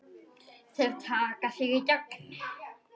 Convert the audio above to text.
Þeir taka þig í gegn!